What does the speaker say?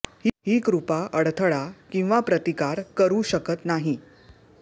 ही कृपा अडथळा किंवा प्रतिकार करू शकत नाही